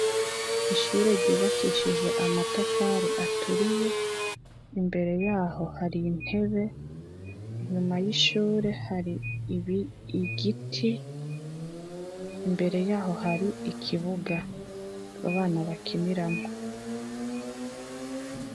Ishure ryubakishije amatafari aturiye imbere yaho hari intebe inyuma yaho hari igiti, imbere yaho hari ikibuga abana bakiniramwo.